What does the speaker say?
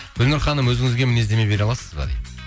гүлнұр ханым өзіңізге мінездеме бере аласыз ба дейді